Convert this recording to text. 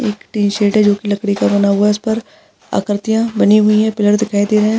एक है ज्योंकि लकड़ी का बना हुआ है जिसपर आकरतिया बनी हुई है दिखाई दे रहा है।